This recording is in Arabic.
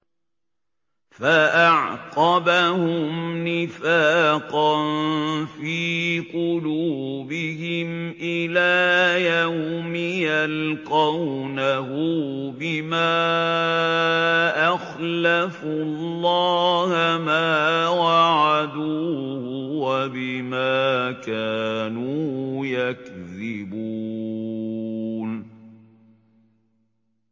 فَأَعْقَبَهُمْ نِفَاقًا فِي قُلُوبِهِمْ إِلَىٰ يَوْمِ يَلْقَوْنَهُ بِمَا أَخْلَفُوا اللَّهَ مَا وَعَدُوهُ وَبِمَا كَانُوا يَكْذِبُونَ